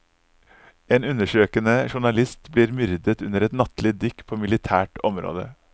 En undersøkende journalist blir myrdet under et nattlig dykk på militært område.